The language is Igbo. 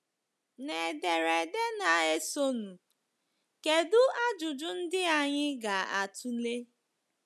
N’ederede na-esonụ, kedụ ajụjụ ndị anyị ga-atụle?